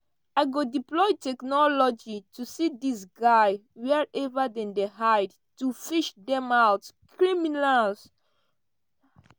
"i go deploy technology to see dis guy wherever dem dey hide to fish dem out criminals."